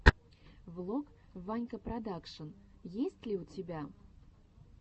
влог ванька продакшн есть ли у тебя